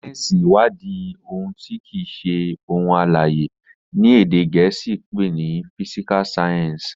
sáyẹnsì iwadi àwọn òun ti kii ṣe ohun alãye, ní èdè gèésì pé ní "physical science".